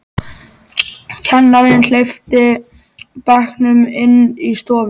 Kennarinn hleypti bekknum inn í stofu.